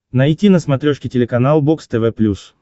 найти на смотрешке телеканал бокс тв плюс